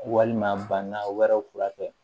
Walima banda wɛrɛw fura kɛ